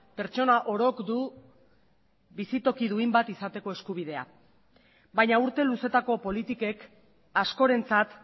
pertsona orok du bizitoki duin bat izateko eskubidea baina urte luzeetako politikek askorentzat